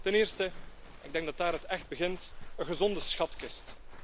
Ten eerste, ik denk dat het daar echt begint een gezonde schatkist.